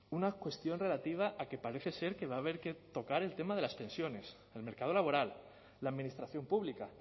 una cuestión relativa a que parece ser que va a haber que tocar el tema de las pensiones el mercado laboral la administración pública